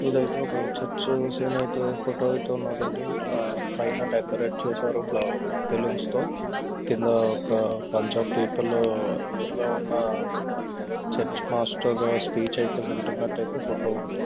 ఇది అయితే ఒక చర్చ్ సేనైతు ఫోటో అయితే ఉన్నాదండి .ఇలా పైన డెకరేట్ చేసారు ఫ్లవ బెల్లోన్స్ తో. కింద ఒక పంచ్ ఆఫ్ పీపుల్ ఎదురుగా ఉన్న చర్చ్ మాస్టర్ స్పీచ్ వింటున్నట్టయితే ఫోటో ఉంది.